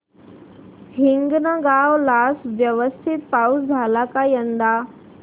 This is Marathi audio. हिंगणगाव ला व्यवस्थित पाऊस झाला का यंदा